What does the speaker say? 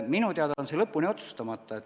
Minu teada on see lõpuni otsustamata.